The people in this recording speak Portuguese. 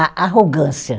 A arrogância.